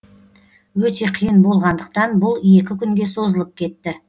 өте қиын болғандықтан бұл екі күнге созылып кетті